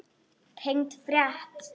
Tengd frétt